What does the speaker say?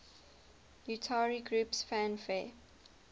utari groups fanfare